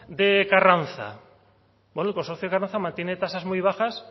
de carranza el consorcio de carranza mantiene tasas muy bajas